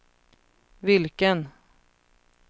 vilken